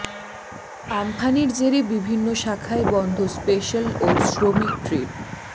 আম্ফানের জেরে বিভিন্ন শাখায় বন্ধ স্পেশাল ও শ্রমিক ট্রেন